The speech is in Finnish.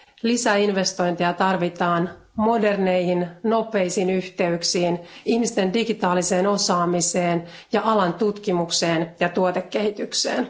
Lisäinvestointeja tarvitaan moderneihin nopeisiin yhteyksiin, ihmisten digitaaliseen osaamiseen ja alan tutkimukseen ja tuotekehitykseen.